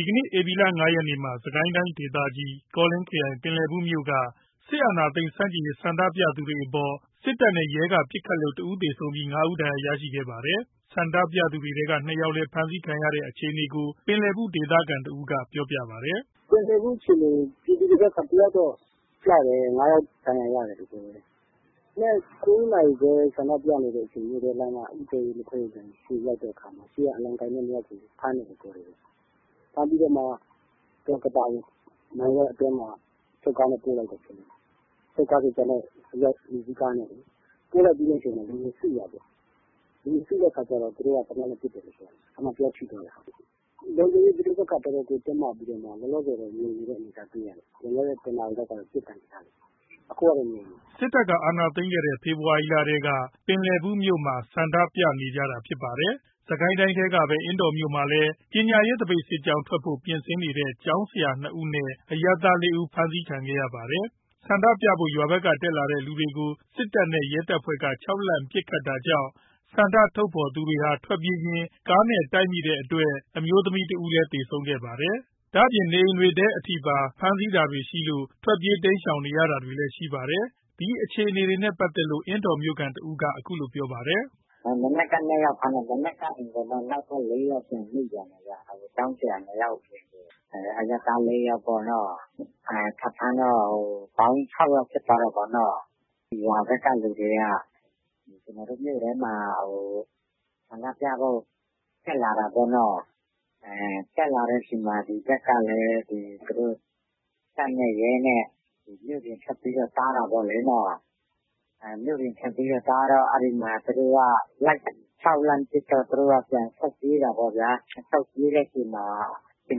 ီကနေ့ ဧပြီ ၅ ရက်နေ့မှာ စစ်ကိုင်းတိုင်းဒေသကြီး ကောလင်းခရိုင် ပင်လယ်ဘူး မြို့က စစ်အာဏာသိမ်းမှု ဆန့်ကျင်ရေး ဆန္ဒပြသူတွေအပေါ် စစ်တပ်နဲ့ ရဲက ပစ်ခတ်လို့ ၁ ဦးသေဆုံးပြီး ၅ ဦး ဒဏ်ရာရခဲ့ပါတယ်။ ဆန္ဒပြသူတွေထဲက ၂ ယောက်လည်း ဖမ်းဆီးခံခဲ့ရတဲ့ အခြေအနေကို ပင်လယ်ဘူး ဒေသခံတဦးက ပြောပြပါတယ်။ “ပင်လယ်ဘူး အခြေအနေ ပြည်သူတွေဘက်က တယောက်တော့ကျတယ်။ ၅ ယောက် ဒဏ်ရာရတယ်ပြောတယ်။ မနက် ၉ နာရီခွဲလောက်က ဆန္ဒပြနေတဲ့အချိန် မြို့ထဲက လက်ဖက်ရည်ဆိုင်ရှေ့ရောက်တဲ့အခါမှာ ရှေ့က အလံကိုင်တဲ့ ၂ ယောက်ကို ဖမ်းတယ်။ ဖမ်းပြီးတော့မှ ကသာကို အချုပ်ကားနဲ့ ပို့လိုက်တယ် အိမ်စီးကားနဲ့လေ။ ပို့လိုက်ပြီးတဲ့အချိန်မှာ လူတွေစုတာပေါ့။ လူတွေစုတဲ့အခါကျတော့ သူတို့က သေနတ်နဲ့ ပစ်တယ်ပြောတယ်။ အဲ့မှာ တယောက်ထိသွားတယ်။ ပဋိပက္ခတော်တော်ကို တင်းမာပြီးတော့မှ လောလောဆယ် ငြိမ်နေတဲ့ အနေအထား တွေ့ရတယ်။ လွန်ခဲ့တဲ့ ၁ နာရီလောက်က ပစ်သံကြားတယ်။ အခုက ငြိမ်နေတယ်။” စစ်တပ်က အာဏာသိမ်းခဲ့တဲ့ ဖေဖော်ဝါရီလထဲက ပင်လယ်ဘူးမြို့မှာ ဆန္ဒပြနေကြတာဖြစ်ပါတယ်။ စစ်ကိုင်းတိုင်းထဲကပဲ အင်းတော်မြို့မှာလည်း ပညာရေးသပိတ်စစ်ကြောင်း ထွက်ဖို့ ပြင်ဆင်နေတဲ့ ကျောင်းဆရာ ၂ ဦးနဲ့ အရပ်သား ၄ ဦး ဖမ်းဆီးခံခဲ့ရပါတယ်။ ဆန္ဒပြဖို့ ရွာဘက်က တက်လာတဲ့ လူတွေကို စစ်တပ်နဲ့ ရဲတပ်ဖွဲ့က ခြောက်လှန့်ပစ်ခတ်တာကြောင့် ဆန္ဒထုတ်ဖော်သူတွေဟာ ထွက်ပြေးရင်း ကားနဲ့တိုက်မိတဲ့အတွက် အမျိုးသမီးတဦးလည်း သေဆုံးခဲ့ပါတယ်။ ဒါ့အပြင် နေအိမ်တွေထဲပါ ဖမ်းဆီးတာတွေရှိလို့ ထွက်ပြေးတိမ်းရှောင်နေရတာတွေရှိပါတယ်။ ဒီအခြေအနေနဲ့ ပတ်သက်လို့ အင်းတော်မြို့ခံတဦးက အခုလိုပြောပါတယ်။ “မနက်က ၂ ယောက်ဖမ်းတယ်။ နောက်ပြီး နောက်ထပ် ၄ ယောက်ထပ်မိသွားတယ်။ ကျောင်းဆရာ ၂ ယောက် အရပ်သား ၄ ယောက်ပေါ့နော်။ ထပ်ဖမ်းတော့ ပေါင်း ၆ ယောက်ဖြစ်သွားတာပေါ့နော်။ ပေါင်း ၆ ယောက် ဖြစ်သွားတဲ့အချိန်မှာ ရွာဘက်က လူတွေက ကျွန်တော်တို့ မြို့ထဲမှာ ဆန္ဒပြဖို့ တက်လာတာပေါ့နော်။ တက်လာတဲ့ အချိန်မှာ တပ်နဲ့ရဲနဲ့က မြို့ပြင်ထွက်ပြီး တားတာပေါ့လေ။ တားပြီး လိုက်ခြောက်လှန်ပစ်တော့ သူတို့ကပြန်ပြီး ထွက်ပြေးတာပေါ့ဗျာ။ ထွက်ပြေးတဲ့အချိန်မှာ အ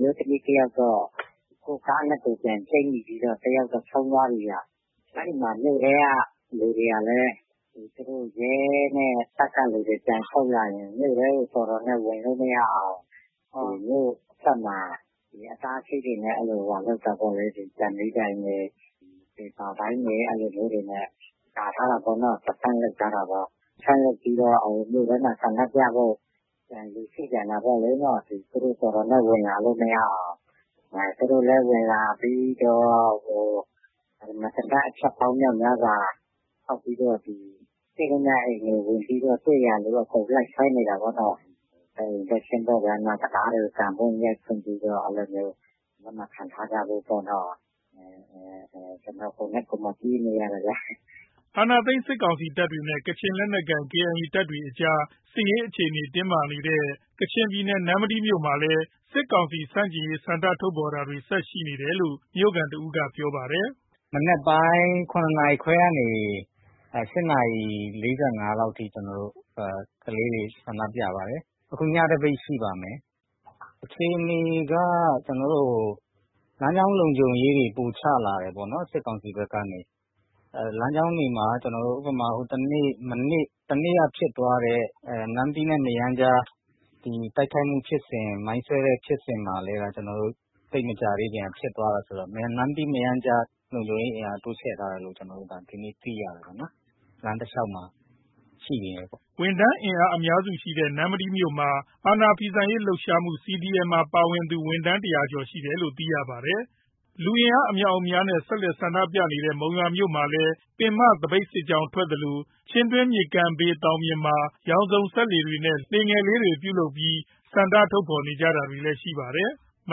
မျိုးသမီးတယောက်တော့ ကိုယ့်ကားနဲ့ ကိုယ်ချိတ်မိပြီး တယောက်တော့ ဆုံးသွားပြီ။ အဲ့ဒီမှာ မြို့ထဲက လူတွေကလည်း တပ်နဲ့ရဲက လူတွေ မြို့ထဲကို ပြန်ဆုတ်ရင် မြို့ထဲကို တော်တော်နဲ့ ဝင်လို့မရအောင် မြို့အထွက်မှာ အတားအဆီးတွေနဲ့ ပေပါပိုင်းတွေနဲ့ ကာထားတာပေါ့နော်။ အဲ့ဒါပြီးတော့ မြို့ထဲမှာ ဆန္ဒပြဖို့ လူစုပြန်တာပေါ့။ သူတို့လည်း တော်တော်နဲ့ ဝင်လာလို့ မရအောင် သူတို့လည်း ဝင်လာပြီးတော့ သေနတ် အချက်ပေါင်းများစွာ ဖောက်ပြီးတော့ တွေ့သမျှအိမ်တွေ အကုန်ဝင်ပြီးတော့ တွေ့သမျှလူ အကုန်လိုက်ဆွဲနေတာပေါ့နော်။ တံခါးတွေကို ကန်ဖွင့် ရိုက်ဖွင့်ပြီးတော့ လက်မခံထားကြဖို့ပေါ့ပြောတယ်။ ကျနော် ကိုယ်တိုင် ပြေးနေရတယ်။” အာဏာသိမ်းထားတဲ့ စစ်ကောင်စီ တပ်တွေနဲ့ ကချင်လက်နက်ကိုင် KIA တပ်တွေကြား စစ်ရေး အခြေအနေ တင်းမာနေတဲ့ ကချင်ပြည်နယ် နမ္မတီးမြို့မှာလည်း စစ်ကောင်စီ ဆန့်ကျင်ရေး ဆန္ဒထုတ်ဖော်တာတွေ ဆက်ရှိနေတယ်လို့ မြို့ခံ တဦးက ပြောပါတယ်။ “မနက်ပိုင်း ၇ နာရီခွဲကနေ ၈ နာရီ ၄၅ မိနစ်အထိ ကျနော်တို့ ကလေးတွေ ဆန္ဒပြပါတယ်။ အခု ညသပိတ် ရှိပါတယ်။ အခြေအနေက လမ်းကြောင်း လုံခြုံရေးတွေ ပိုချလာတယ်ပေါ့နော် စစ်ကောင်စီဘက်ကနေ။ လမ်းကြောင်းတွေမှာ တနေ့က ဖြစ်သွားတဲ့ နမ္မတီးနဲ့ မရမ်းကြား တိုက်ခိုက်မှုဖြစ်စဉ် မိုင်းဆွဲမှု ဖြစ်စဉ်မှာလည်း သိပ်မကြာသေးခင်က ဖြစ်သွားတာဆိုတော့ နမ္မတီး မရမ်းကြား လုံခြုံရေး အင်အား တိုးချဲ့ထားတယ်လို့ ဒီနေ့ သိရတယ်။” ဝန်ထမ်းအင်အား အများစု ရှိတဲ့ နမ္မတီးမြို့မှာ အာဏာဖီဆန့်ရေး လှုပ်ရှားမှု CDM မှာ ပါဝင်သူ ဝန်ထမ်း ၁၀၀ ကျော်ရှိတယ်လို့လည်း သိရပါတယ်။ လူအင်အား အမြောက်အများနဲ့ ဆက်တိုက် ဆန္ဒပြနေတဲ့ မုံရွာက မြို့မှာလည်း ပင်မသပိတ် စစ်ကြောင်း ထွက်သလို၊ ချင်းတွင်း မြစ်ကမ်းဘေး သောင်ပြင်မှာ ရောင်စုံစက္ကူတွေနဲ့ လှေလေးတွေ ပြုလုပ်ပြီးဆန္ဒ ထုတ်ဖော်ခဲ့ကြပါတယ်။ မ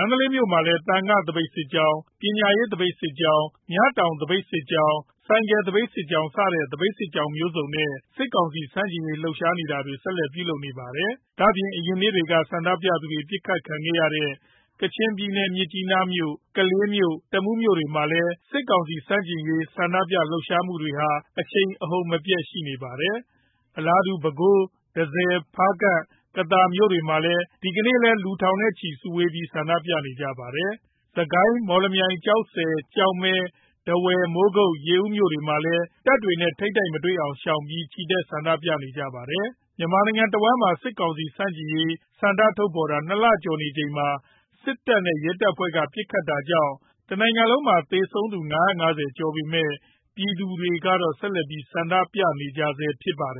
န္တလေးမြို့မှာလည်း သံဃာ သပိတ်စစ်ကြောင်း၊ ပညာရေး သပိတ်စစ်ကြောင်း၊ မြတောင် သပိတ်စစ်ကြောင်း၊ ဆိုင်ကယ် သပိတ်စစ်ကြောင်းစတဲ့ သပိတ်စစ်ကြောင်းမျိုးစုံနဲ့ စစ်ကောင်စီ ဆန့်ကျင်ရေး လှုပ်ရှားတာတွေ ဆက်လက် ပြုလုပ်နေပါတယ်။ ဒါ့အပြင် အရင်နေ့တွေက ဆန္ဒပြသူတွေ ပစ်ခတ် ခံရတဲ့ ကချင်ပြည်နယ် မြစ်ကြီးနားမြို့၊ ကလေးမြို့ တမူး မြို့တွေမှာလည်း စစ်ကောင်စီ ဆန့်ကျင်ရေး ဆန္ဒပြလှုပ်ရှားမှုတွေဟာ အရှိန်အဟုန်မပြတ် ရှိနေပါတယ်။ အလားတူ ပဲခူး၊ တန့်ဆည်၊ ဖားကန့်၊ ကသာ မြို့တွေမှာ ဒီကနေ့လည်း လူထောင်ချီ စုဝေးဆန္ဒပြကြပါတယ်။ စစ်ကိုင်း၊ မော်လမြိုင်၊ ကျောက်ဆည်၊ ကျောက်မဲ၊ ထားဝယ်၊ မိုးကုတ်၊ ရေဦးမြို့တွေမှာလည်း တပ်တွေနဲ့ ထိပ်တိုက်မတွေ့အောင် ရှောင်ပြီး ချီတက်ဆန္ဒပြကြပါတယ်။ မြန်မာနိုင်ငံတဝှမ်းမှာ စစ်ကောင်စီ ဆန့်ကျင်ရေး ဆန္ဒထုတ်ဖော်တာ ၂ လကျော်နေချိန်မှာ စစ်တပ်နဲ့ ရဲတပ်ဖွဲ့က ပစ်ခတ်တာကြောင့် တနိုင်ငံလုံးမှာ သေဆုံး ၅၅၀ ကျော်လာပေမယ့် ပြည်သူတွေက ဆက်ပြီး ဆန္ဒပြနေကြဆဲဖြစ်ပါတယ်